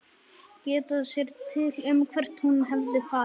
Geta sér til um hvert hún hefði farið.